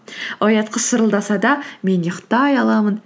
оятқыш шырылдаса да мен ұйықтай аламын